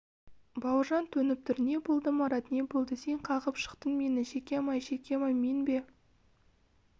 бауыржан төніп тұр не болды марат не болды сен қағып жықтың мені шекем-ай шекем-ай мен бе